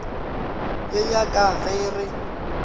ye ya ka ge re